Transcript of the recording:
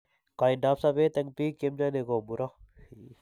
Kaindoap sobet eng' biik che mnyani ko muro.